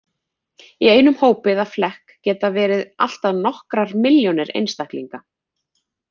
Í einum hópi eða flekk geta verið allt að nokkrar milljónir einstaklinga.